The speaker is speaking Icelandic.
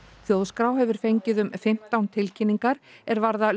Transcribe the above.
þjóðskrá hefur fengið um fimmtán tilkynningar er varða